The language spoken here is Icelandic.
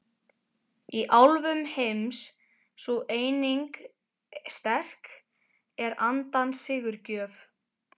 Í álfum heims sú eining sterk er andans sigurgjöf.